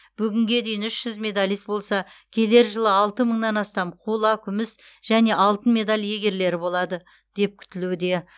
бүгінге дейін үш жүз медалист болса келер жылы алты мыңнан астам қола күміс және алтын медаль иегерлері болады деп күтілуде